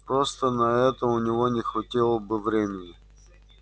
просто на это у него не хватило бы времени